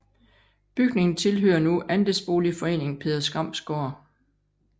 Bygningen tilhører nu andelsboligforeningen Peder Skrams Gård